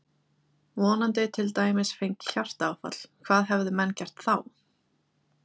Viðkomandi til dæmis fengi hjartaáfall, hvað hefðu menn gert þá?